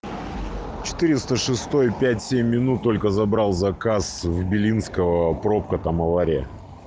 четыреста шестой пять семь минут только забрал заказ в белинского пробка там авария